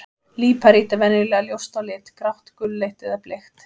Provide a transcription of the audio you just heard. Líparít er venjulega ljóst á lit, grátt, gulleit eða bleikt.